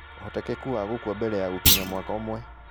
Ũhotekeku wa gũkua mbere ya gũkinyia mwaka ũmwe